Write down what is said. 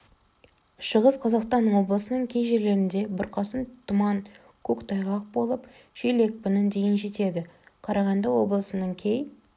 шығыс қазақстан облысының кей жерлерінде бұрқасын тұман көктайғақ болып жел екпіні дейін жетеді қарағанды облысының кей